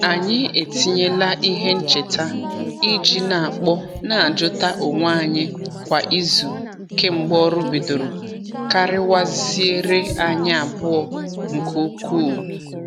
Anyị etinyela ihe ncheta i ji n'akpọ n'ajuta onwe anyi kwa izu kemgbe ọrụ bidoro kariwaziere anyi abụọ nke ukwuu.